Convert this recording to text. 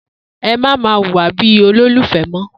Emá ma wùwà bi olólùfe mọ